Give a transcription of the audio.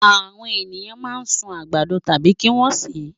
Àwọn ènìyàn máa ń sun àgbàdo tàbí kí wọ́n sè é.